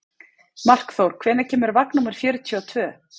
Markþór, hvenær kemur vagn númer fjörutíu og tvö?